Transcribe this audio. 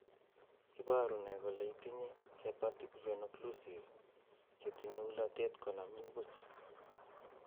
iporu ne kole itinye Hepatic venoocclusive che tinye ulatet konamin puch.